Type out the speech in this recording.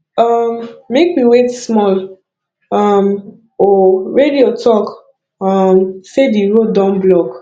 um make we wait small um o radio talk um sey di road don block